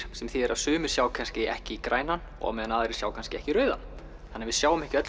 sem þýðir að sumir sjá kannski ekki grænan á meðan aðrir sjá kannski ekki rauðan við sjáum ekki öll